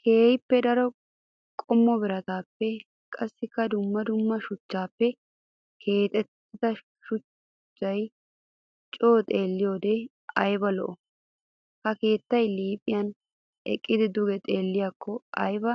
Keehippe daro qommo biratappe qassikka dumma dumma shuchchappe keexettida shuchcha coo xeelliyodde aybba lo'i! Ha keetta liiphiyan eqqidi duge xeelliyakko aybba